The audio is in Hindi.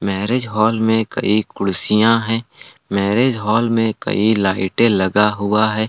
मैरिज हॉल में कई कुर्सियां हैं मैरिज हॉल में कई लाइटें लगा हुआ है।